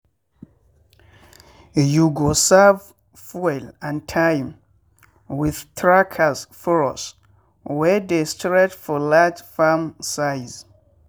you go save fuel and time with with trackers furrows wey dey straight for large farm size.